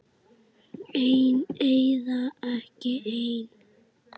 Einn eða ekki einn.